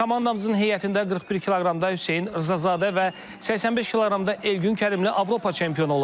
Komandamızın heyətində 41 kq-da Hüseyn Rzazadə və 85 kq-da Elgün Kərimli Avropa çempionu olub.